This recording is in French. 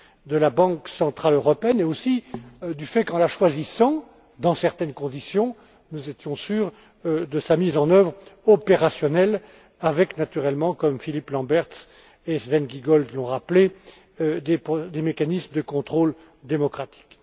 de la Banque centrale européenne et aussi du fait qu'en la choisissant, dans certaines conditions, nous étions sûrs de sa mise en oeuvre opérationnelle avec, naturellement, comme Philippe Lamberts et Sven Giegold l'ont rappelé, des mécanismes de contrôle démocratique.